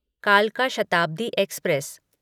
कालका शताब्दी एक्सप्रेस